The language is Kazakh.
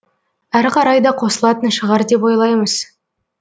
әрі қарай да қосылатын шығар деп ойлаймыз